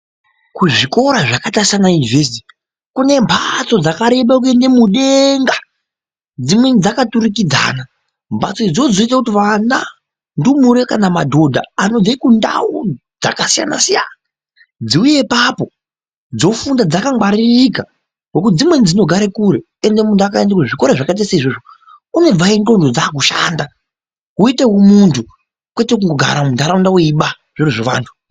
Kuzvikora zvakaita saana university kune mbatsoo dzakareba kuende mudengaa dzimweni dzakaturikidzana. Mbatso idzodzo dzinoita kuti vana , ndumure kana madhodha anobve kundau dzakasiyana - siyana dziuye ipapoo dzofunda dzakangwaririka ngokuti dzimweni dzinogaro kure ende muntu akaende kuzvikoro zvakaita seizvozvo unobvayo ndxondo dzakushandaa woutevo muntu kwete kungogara mundaraunda weibaa zviro zvevantuu.